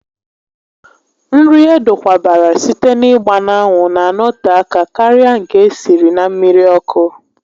Nri edokwabara site n'ịgba n'anwụ na anọte aka karịa nke esiri na mmiri ọkụ